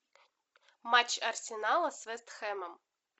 матч арсенала с вест хэмом